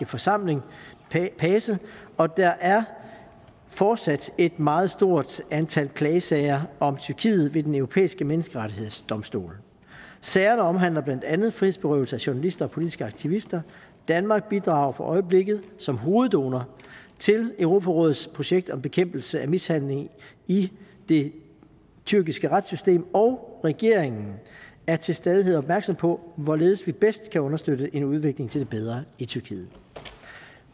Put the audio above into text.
forsamling pace og der er fortsat et meget stort antal klagesager om tyrkiet ved den europæiske menneskerettighedsdomstol sagerne omhandler blandt andet frihedsberøvelse af journalister og politiske aktivister danmark bidrager for øjeblikket som hoveddonor til europarådets projekt om bekæmpelse af mishandling i det tyrkiske retssystem og regeringen er til stadighed opmærksom på hvorledes vi bedst kan understøtte en udvikling til det bedre i tyrkiet